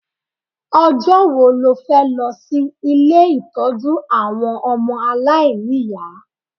Ọjọ́ wo lo fẹ́ lọ sí ilé ìtọ́jú àwọn ọmọ aláìní ìyá?